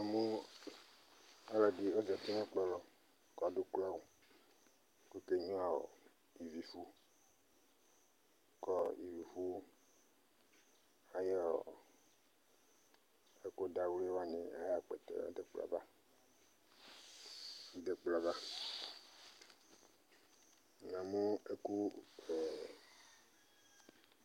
Namʋ ɔlɔdɩ ɔzati nʋ ɛkplɔ lɔ kʋ adʋ ukloawʋ kʋ ɔkenyuǝ ivifʋ kʋ ɔ ivifʋ ayʋ ɛkʋdawlɩ wanɩ ayʋ akpɛtɛ dʋ ɛkplɔ yɛ ava, dʋ ɛkplɔ yɛ ava Namʋ ɛkʋ ɛɛ